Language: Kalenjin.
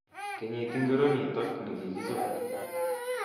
Kenyit ingiro nito nekikichob